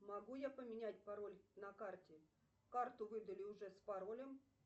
могу я поменять пароль на карте карту выдали уже с паролем